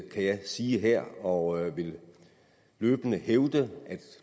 kan jeg sige her og vil løbende hævde